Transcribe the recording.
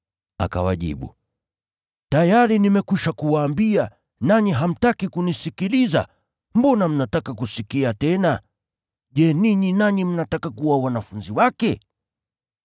Akawajibu, “Tayari nimekwisha kuwaambia, nanyi hamtaki kunisikiliza. Mbona mnataka kusikia tena? Je, ninyi nanyi mnataka kuwa wanafunzi wake?”